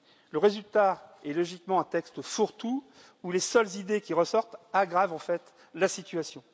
Le résultat est logiquement un texte fourre tout, où les seules idées qui ressortent aggravent en fait la situation.